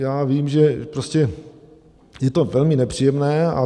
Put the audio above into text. Já vím, že prostě je to velmi nepříjemné.